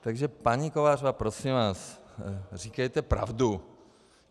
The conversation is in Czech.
Takže paní Kovářová, prosím vás, říkejte pravdu.